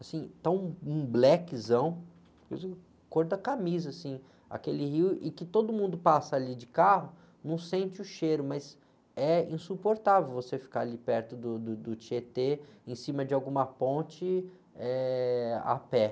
assim, está um, um blackzão, cor da camisa, assim, aquele rio, e que todo mundo passa ali de carro, não sente o cheiro, mas é insuportável você ficar ali perto do, do, do Tietê, em cima de alguma ponte, eh, a pé.